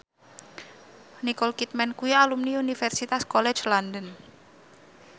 Nicole Kidman kuwi alumni Universitas College London